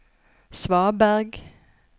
svaberg